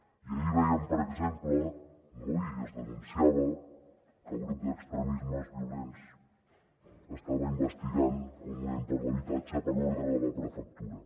i ahir vèiem per exemple no i es denunciava que el grup d’extremismes violents estava investigant el moviment per l’habitatge per ordre de la prefectura